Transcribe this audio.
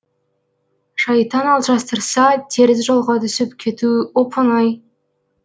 шайтан алжастырса теріс жолға түсіп кету оп оңай